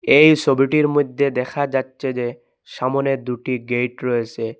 এই সোবিটির মইধ্যে দেখা যাচ্ছে যে সামনে দুটি গেট রয়েসে।